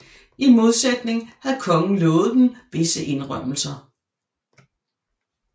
I modsætning havde kongen lovet dem visse indrømmelser